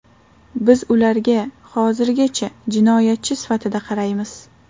Biz ularga hozirgacha jinoyatchi sifatida qaraymiz.